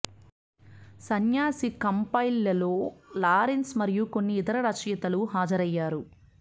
సన్యాసి కంపైల్ లో లారెన్స్ మరియు కొన్ని ఇతర రచయితలు హాజరయ్యారు